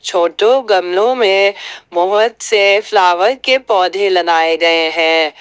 छोटों गमलों में बहुत सारे फ्लावर के पौधे लगाए गए हैं।